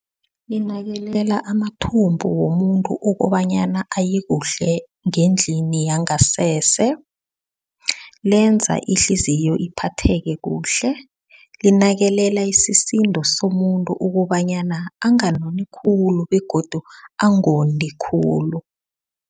Linakekela amathumbu womuntu ukobanyana ayekuhle ngendlini yangasese lenza ihliziyo iphathe kuhle linakekela isisindo somuntu ukobanyana anganoni khulu begodu angondi khulu.